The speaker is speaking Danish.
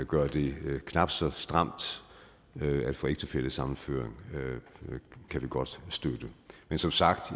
gør det knap så stramt at få ægtefællesammenføring kan vi godt støtte men som sagt